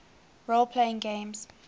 role playing games